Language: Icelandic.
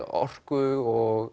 orku og